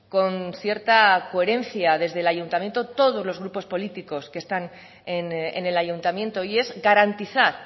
con cierta coherencia desde el ayuntamiento todos los grupos políticos que están en el ayuntamiento y es garantizar